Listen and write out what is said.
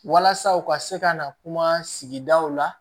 Walasa u ka se ka na kuma sigidaw la